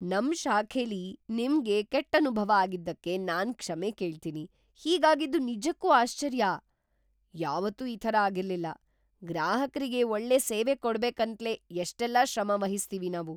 ನಮ್ ಶಾಖೆಲಿ ನಿಮ್ಗೆ ಕೆಟ್ಟ್ ಅನುಭವ ಆಗಿದ್ದಕ್ಕೆ ನಾನ್ ಕ್ಷಮೆ ಕೇಳ್ತೀನಿ. ಹೀಗಾಗಿದ್ದು ನಿಜಕ್ಕೂ ಆಶ್ಚರ್ಯ! ಯಾವತ್ತೂ ಈ ಥರ ಆಗಿರ್ಲಿಲ್ಲ. ಗ್ರಾಹಕ್ರಿಗೆ ಒಳ್ಳೆ ಸೇವೆ ಕೊಡ್ಬೇಕಂತ್ಲೇ ಎಷ್ಟೆಲ್ಲ ಶ್ರಮವಹಿಸ್ತೀವಿ ನಾವು!